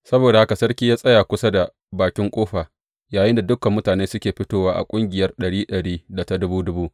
Saboda haka sarki ya tsaya kusa da bakin ƙofa yayinda dukan mutane suke fitowa a ƙungiyar ɗari ɗari da ta dubu dubu.